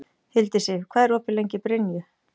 Hildisif, hvað er opið lengi í Brynju?